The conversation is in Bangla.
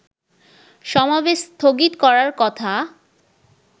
সমাবেশ স্থগিত করার কথা